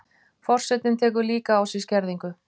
Forsetinn tekur líka á sig skerðingu